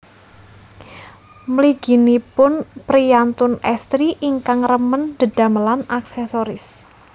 Mliginipun priyantun estri ingkang remen dedamelan aksesoris